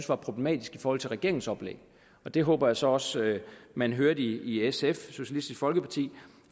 var problematisk i forhold til regeringens oplæg det håber jeg så også at man hørte i sf socialistisk folkeparti